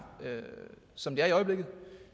som det er i øjeblikket